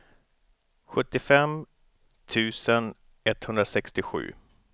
sjuttiofem tusen etthundrasextiosju